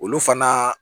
Olu fana